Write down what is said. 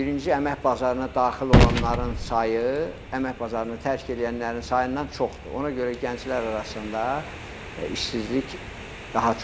Birinci əmək bazarına daxil olanların sayı, əmək bazarını tərk eləyənlərin sayından çoxdur, ona görə gənclər arasında işsizlik daha çoxdur.